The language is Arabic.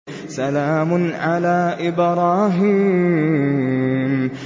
سَلَامٌ عَلَىٰ إِبْرَاهِيمَ